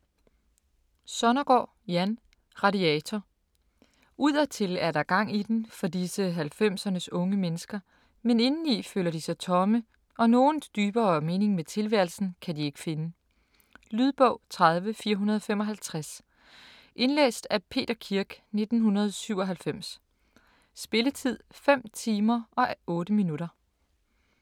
Sonnergaard, Jan: Radiator Udadtil er der gang i den, for disse 90'ernes unge mennesker, men indeni føler de sig tomme, og nogen dybere mening med tilværelsen kan de ikke finde. Lydbog 30455 Indlæst af Peter Kirk, 1997. Spilletid: 5 timer, 8 minutter.